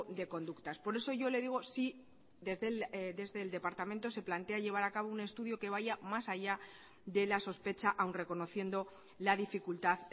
de conductas por eso yo le digo si desde el departamento se plantea llevar a cabo un estudio que vaya más allá de la sospecha aun reconociendo la dificultad